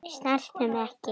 Snertu mig ekki svona.